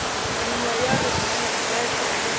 nngwe ya re ke bete